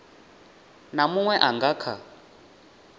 na muṅwe a nga kha